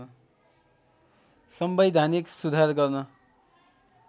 संवैधानिक सुधार गर्न